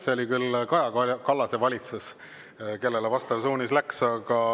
See oli küll Kaja Kallase valitsus, kellele vastav suunis läks.